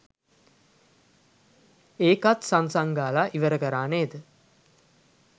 ඒකත් සං සං ගාල ඉවර කරා නේද